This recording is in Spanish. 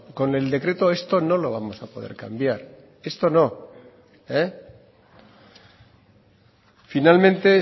con el decreto esto no lo vamos a poder cambiar esto no finalmente